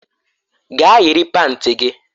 Gaa yiri panti gị!